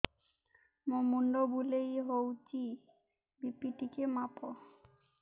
ମୋ ମୁଣ୍ଡ ବୁଲେଇ ହଉଚି ବି.ପି ଟିକେ ମାପ